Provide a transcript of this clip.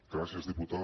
gràcies diputada